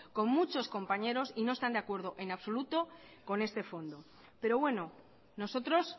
con muchos compañeros y no están de acuerdo en absoluto con este fondo pero bueno nosotros